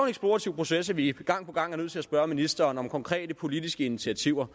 eksplorativ proces at vi gang på gang er nødt til at spørge ministeren om konkrete politiske initiativer